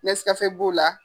b'o la.